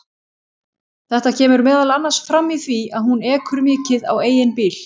Þetta kemur meðal annars fram í því að hún ekur mikið á eigin bíl.